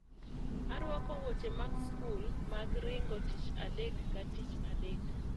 Arwako wuoche mag skul mag ringo tich adek ka tich adek